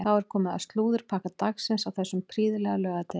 Þá er komið að slúðurpakka dagsins á þessum prýðilega laugardegi.